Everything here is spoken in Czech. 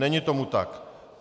Není tomu tak.